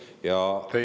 Teie aeg!